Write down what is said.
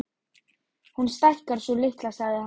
Hún stækkar, sú litla, sagði hann.